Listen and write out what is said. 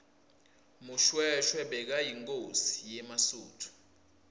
mushoeshoe bekayinkhosi yemasuthu